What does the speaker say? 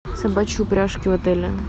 собачьи упряжки в отеле